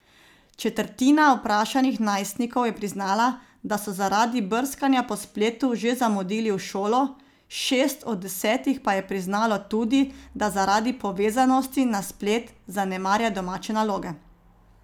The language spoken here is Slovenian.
Četrtina vprašanih najstnikov je priznala, da so zaradi brskanja po spletu že zamudili v šolo, šest od desetih pa je priznalo tudi, da zaradi povezanosti na splet zanemarja domače naloge.